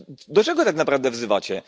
Do czego tak naprawdę wzywacie?